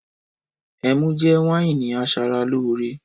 Ẹmú jẹ wàyínì àsàràlòrẹ.